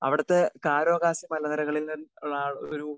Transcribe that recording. speaker 2 അവിടുത്തെ കാരോകാസി മലനിരകളിൽ നിന്നുള്ള ഒരു